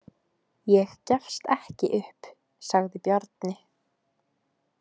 Ég gefst ekki upp, sagði Bjarni.